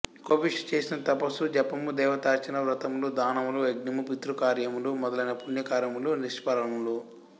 కోపిష్టి చేసిన తపసు జపము దేవతార్చన వ్రతములు దానములు యజ్ఞము పితృకార్యములు మొదలైన పుణ్యకార్యములు నిష్ఫలములు